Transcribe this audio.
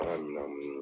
An ka minɛn minnu